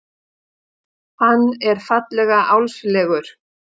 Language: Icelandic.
Hann er fallega álfslegur.